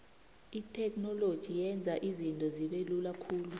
itheknoloji yenza izinto zibelula khulu